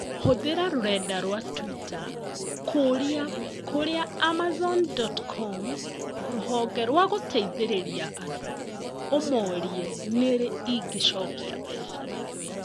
Hũthĩra rũrenda rũa tũita kũũria kũria Amazon dot com rũhonge rwa gũteithĩrĩria andũ ũmorie nĩrĩ ingĩchokĩa mbeca